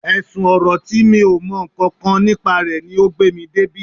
Ẹ̀sùn ọ̀rọ̀ tí mi ò mọ nǹkan kan nípa rẹ̀ ni o gbé mi débí